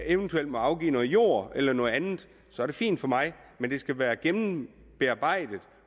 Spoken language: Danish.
eventuelt må afgive noget jord eller noget andet så er det fint for mig men det skal være gennembearbejdet